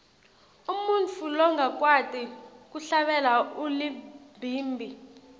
umuntfu longakwati kuhlabela ulibhimbi